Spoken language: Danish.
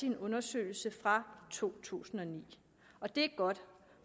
en undersøgelse fra to tusind og ni og det er godt